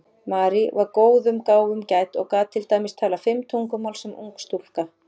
Marie var góðum gáfum gædd og gat til dæmis talað fimm tungumál sem ung stúlka.